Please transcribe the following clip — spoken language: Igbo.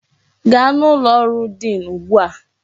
Gaa n'ụlọ ọrụ diin ugbu a!